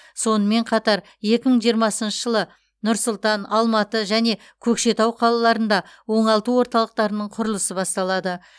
сонымен қатар екі мың жиырмасыншы жылы нұр сұлтан алматы және көкшетау қалаларында оңалту орталықтарының құрылысы басталады